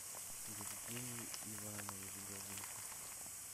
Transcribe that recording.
евгений иванович голышев